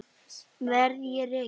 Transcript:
Verð ég rekinn?